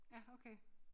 Ja okay